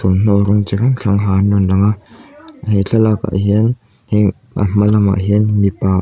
thawmhnaw rawng chi hrang hrang ha an rawn lang a he thlalakah hian heng a hma lamah hian mipa --